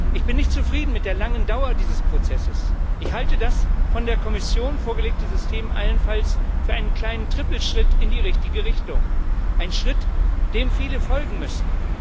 Ich bin mit der langen Dauer dieses Prozesses nicht zufrieden. Ich halte das von der Kommission vorgelegte System allenfalls für einen kleinen Trippelschritt in die richtige Richtung einen Schritt, dem viele folgen müssen.